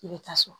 I bɛ ta so